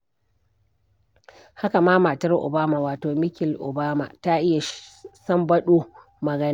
Haka ma matar Obama, wato Michel Obama, ta iya sambaɗo magana.